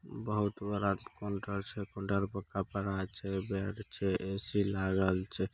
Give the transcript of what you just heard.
बहुत बड़ा काउंटर छे काउंटर पे कपड़ा छे बेग छे ए_सी लागल छे।